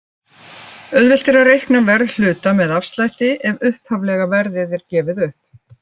Auðvelt er að reikna verð hluta með afslætti ef upphaflega verðið er gefið upp.